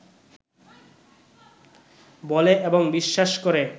বলে এবং বিশ্বাস করে